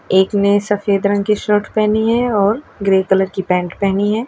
एक ने सफेद रंग की शर्ट पहनी है और ग्रे कलर की पैंट पहनी है।